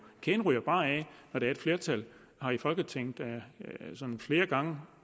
kæden hopper bare af når et flertal her i folketinget flere gange